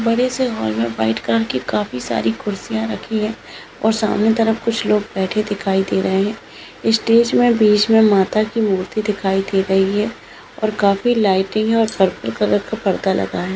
बडे से हॉल मे व्हाइट कलर की काफी सारी कुर्सिया रखी है और सामने तरफ कुछ लोग बैठे दिखाई दे रहे है स्टेज मे बीच मे माता की मूर्ति दिखाई दे रही है और काफी लाइटे और पर्पल कलर का पर्दा लगा है।